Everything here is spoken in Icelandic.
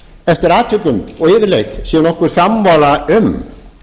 eftir atvikum og yfirleitt séum nokkuð sammála um